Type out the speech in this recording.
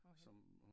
Hvorhenne?